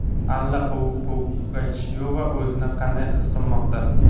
Alla Pugachyova o‘zini qanday his qilmoqda?.